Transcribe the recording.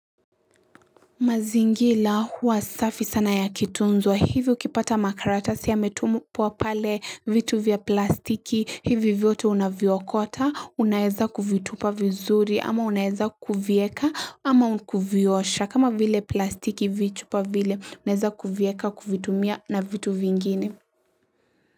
Mazingira huwa safi sana yakitunzwa hivi ukipata makaratasi yametupwa pale vitu vya plastiki, hivi vyote unaviokota, unaeza kuvitupa vizuri ama unaeza kuvieka ama kuviosha. Kama vile plastiki vichupa vile, unaeza kuvieka kuvitumia na vitu vingine.